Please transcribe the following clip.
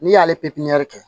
N'i y'ale